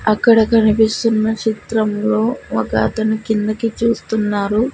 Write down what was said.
అక్కడ కనిపిస్తున్న చిత్రంలో ఒక అతను కిందకి చూస్తున్నారు.